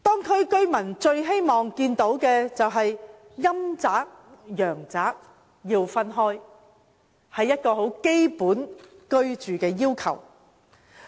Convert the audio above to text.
區內居民最希望陰宅和陽宅分開，這是十分基本的住屋要求。